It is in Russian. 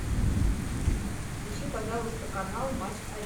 включи пожалуйста канал матч